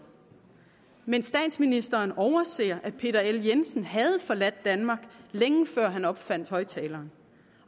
men statsministeren overser at peter l jensen havde forladt danmark længe før han opfandt højtaleren